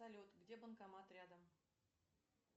салют где банкомат рядом